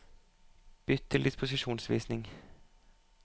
Bytt til disposisjonsvisning